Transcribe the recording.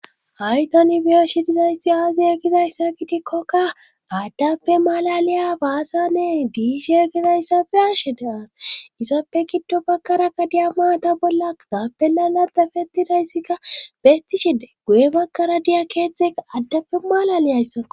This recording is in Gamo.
aytanibiyeshi dizayssi aaziya gizayssa gidikkokka aaddappe malaliya baasanne diisheya gizayssappe ashe deaas isappe kiddo bakkarakka diya maata bolla gaappe lalardafettidayssikka bettishide guye bakkara diya keeththeka addappe maalaliyayssa